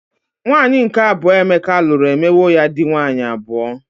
Nwaanyi nke abuo Emeka lụrụ emewo ya dị nwaanyị abụọ.